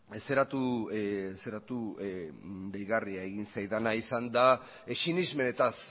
deigarria egin zaidana da sinesmenetaz